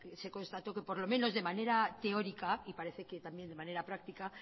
se constató que por lo menos de manera teórica y parece que también de manera práctica